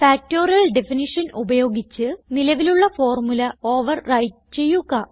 factorial definition ഉപയോഗിച്ച് നിലവിലുള്ള formula overwrite ചെയ്യുക